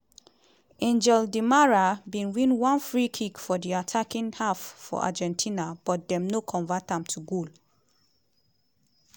ã¡ngel di marã­a bin win one free kick for di attacking half for argentina but dem no convert am to goal.